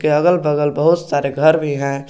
के अगल बगल बहुत सारे घर भी हैं।